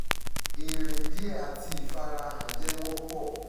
irin diẹ ati ifarahan jẹ wọpọ